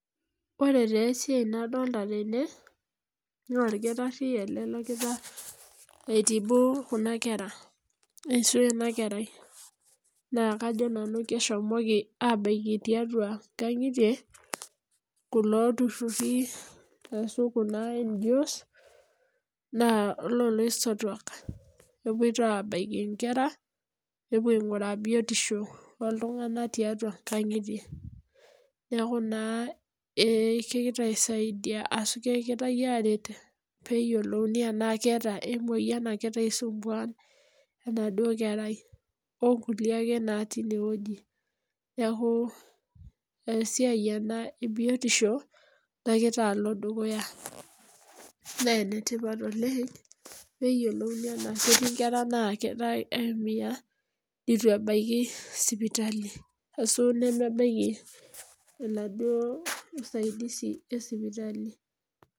Ore taa esiai nadolita tene naa orkitari ele logira aitibu kuna kerra ashu ena kerai naa kajo nanu keshomoki aabaiki tiatua nkangitie kulo tururi ashu kuna NGOs naa loo laisotuak kepoito abaiki nkerra nepuo ainguraa biotisho oltungani tiatua nkangitie niaku naa kegirae aisaidia ashu arret peyiolouni enaa keeta ai moyian nagira aisumbua enaduo kerrai onkulie ake natii ene wueji niaku esiai ena ee biotisho nagira alo dukuya, naa enetipat oleng peyiolouni enaa ketii nkerra naagira aumia nitu ebaiki sipitali ashu nemebaiki enaduo usaidizi ee sipitali